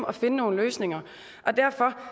at finde nogle løsninger derfor